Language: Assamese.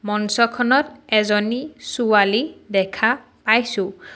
মঞ্চখনত এজনী ছোৱালী দেখা পাইছোঁ।